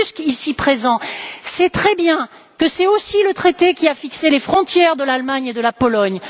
M. Tusk, ici présent, sait très bien que c'est aussi le traité qui a fixé les frontières de l'Allemagne et de la Pologne.